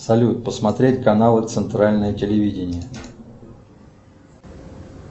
салют посмотреть каналы центральное телевидение